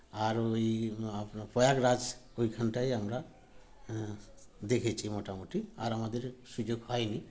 আর ঐ আপনার প্রয়াগ রাজ ঐখানটাই আমরা আ দেখেছি মোটামুটি আর আমাদের সুযোগ হয়নি